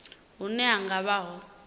hune hu nga vha ho